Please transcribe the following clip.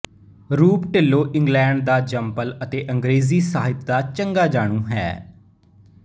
ਰੂਪ ਢਿੱਲੋਂ ਇੰਗਲੈਂਡ ਦਾ ਜੰਮਪਲ ਅਤੇ ਅੰਗਰੇਜ਼ੀ ਸਾਹਿਤ ਦਾ ਚੰਗਾ ਜਾਣੂ ਹੈ